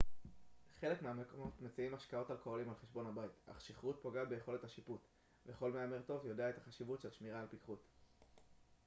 חלק מהמקומות מציעים משקאות אלכוהוליים על חשבון הבית אך שכרות פוגעת ביכולת השיפוט וכל מהמר טוב יודע את החשיבות של שמירה על פיכחות